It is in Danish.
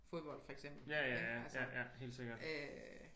Fodbold for eksempel ik altså